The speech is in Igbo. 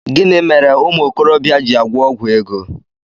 Gịnị mere umuokorobia ji agwọ ọgwụ ego?